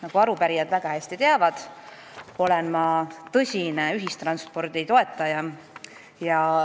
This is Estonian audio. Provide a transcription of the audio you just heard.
Nagu arupärijad väga hästi teavad, olen ma tõsine ühistranspordi toetaja.